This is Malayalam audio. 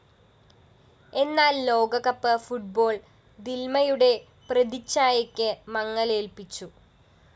എന്നാല്‍ ലോകകപ്പ് ഫുട്ബോൾ ദില്‍മയുടെ പ്രതിഛായക്ക് മങ്ങലേല്‍പ്പിച്ചു